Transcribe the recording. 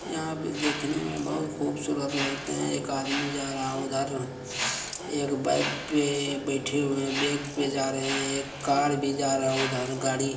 यहा पे देखने मे बहुत खूबसूरत लगते है एक आदमी जा रहा उधर एक बाइक पे बैठे हुए हैं बाइक पे जा रहे है एक कार भी जा रहा है उधर गाड़ी--